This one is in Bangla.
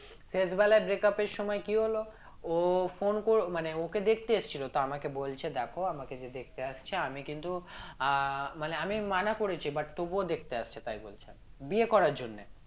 শেষবেলা breakup এর সময় কি হলো ও phone মানে ওকে দেখতে এসেছিলো তো আমাকে বলছে দেখো আমাকে যে দেখতে আসছে আমি কিন্তু আহ মানে আমি মানা করেছি but তবুও দেখতে আসছে তাই বলছে বিয়ে করার জন্য